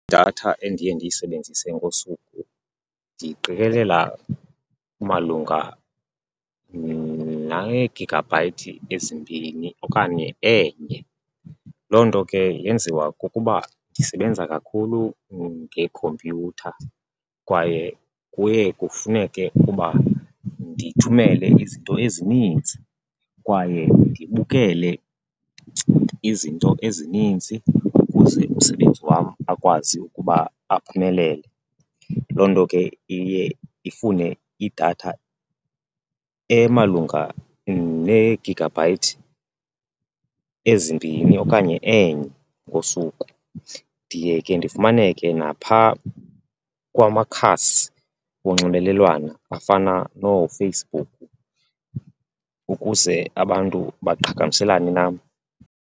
Idatha endiye ndiyisebenzise ngosuku ndiyiqikelela malunga neegigabhayithi ezimbini okanye enye. Loo nto ke yenziwa kukuba ndisebenza kakhulu ngeekhompyutha kwaye kuye kufuneke ukuba ndithumele izinto ezininzi kwaye ndibukele izinto ezininzi ukuze umsebenzi wam akwazi ukuba aphumelele. Loo nto ke iye ifune idatha emalunga neegigabhayithi ezimbini okanye enye ngosuku. Ndiye ke ndifumaneke naphaa kwamakhasi onxibelelwano afana nooFacebook ukuze abantu baqhagamshelane nam.